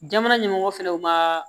Jamana ɲɛmɔgɔ fɛnɛ u ma